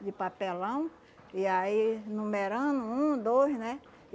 de papelão, e aí numerando, um, dois, né?